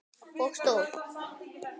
Og stól.